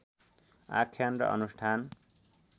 आख्यान र अनुष्ठान